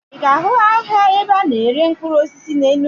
Ị ga-ahụ ahịa ebe a na-ere mkpụrụ osisi na Enugu